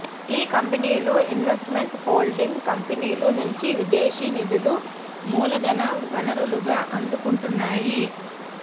ఈ కంపెనీలు investment holding కంపెనీలు నుంచి విదేశీ నిధులు మూలధన వనరులుగా అందుకుంటున్నాయి